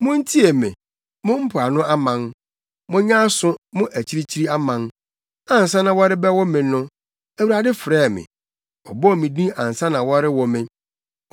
Muntie me, mo mpoano aman; monyɛ aso mo akyirikyiri aman ansa na wɔrebɛwo me no, Awurade frɛɛ me ɔbɔɔ me din ansa na wɔrewo me.